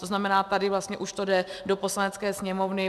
To znamená, tady vlastně už to jde do Poslanecké sněmovny.